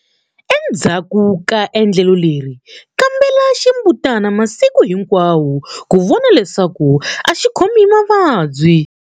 Enzhaku ka endlelo leri, kambela ximbutana masiku hinkwawo ku vona leswaku a xi khomi hi mavabyi.